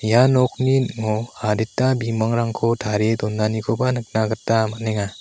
ia nokni ning·o adita bimangrangko tarie donanikoba nikna gita man·enga.